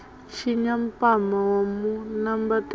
tshinya mpama wa mu nambatela